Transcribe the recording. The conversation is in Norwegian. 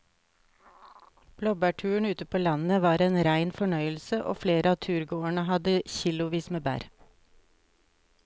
Blåbærturen ute på landet var en rein fornøyelse og flere av turgåerene hadde kilosvis med bær.